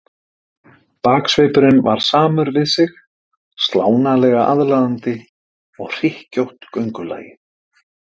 Baksvipurinn var samur við sig, slánalega aðlaðandi, og hlykkjótt göngulagið.